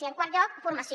i en quart lloc formació